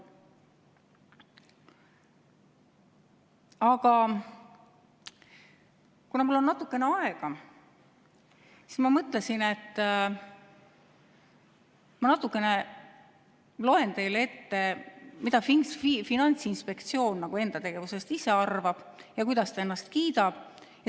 Aga kuna mul on natukene aega, siis ma mõtlesin, et ma loen teile ette, mida Finantsinspektsioon ise enda tegevusest arvab ja kuidas ta ennast kiidab.